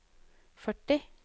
førti